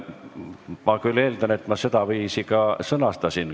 Ma küll eeldan, et ma sedaviisi ka sõnastasin.